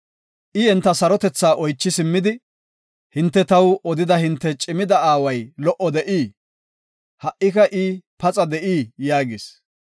I enta sarotetha oychi simmidi, “Hinte taw odida hinte cimida aaway lo77o de7ii? Ha77ika I paxa de7ii?” yaagis.